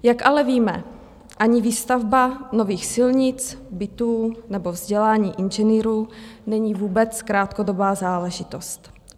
Jak ale víme, ani výstavba nových silnic, bytů nebo vzdělání inženýrů není vůbec krátkodobá záležitost.